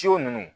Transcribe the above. Ciw ninnu